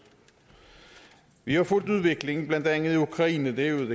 vi har fulgt udviklingen blandt andet i ukraine det er jo